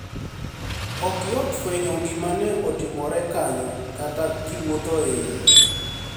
Ok yot fweniyo gima ni e otimore kaniyo kata kiwuotho e iye.